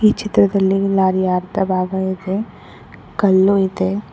ಈ ಚಿತ್ರದಲ್ಲಿ ಲಾರಿಯ ಅರ್ಧ ಭಾಗ ಇದೆ ಕಲ್ಲು ಇದೆ.